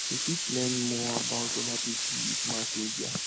we fit learn more about oda pipo with mass media